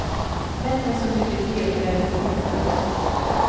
Män är så mycket trevligare än kvinnor.